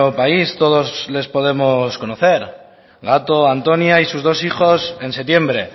país todos les podemos conocer gato antonia y sus dos hijos en septiembre